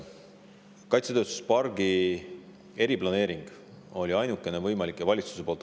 Kaitsetööstuspargi eriplaneering oli ainukene võimalik.